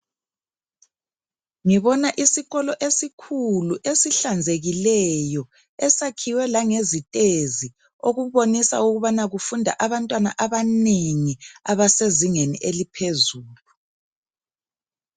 Ngibona isikolo esikhulu esihlanzekileyo esakhiwe langezitezi okubonisa ukubana kufunda abantwana abanengi abasezingeni eliphezulu.